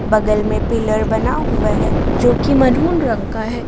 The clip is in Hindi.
बगल में पिलर बना हुआ हैं जो कि मैरून रंग का है।